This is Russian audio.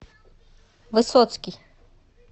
высоцкий